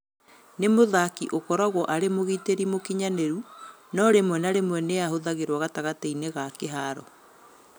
Nĩ mũthaki ũkoragwo arĩ mũgitĩri mũkinyanĩru no rĩmwe na rĩmwe nĩ ahũthagĩrwo gatagatĩ-inĩ ga kĩharo.